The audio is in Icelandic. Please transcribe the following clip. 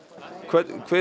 hver er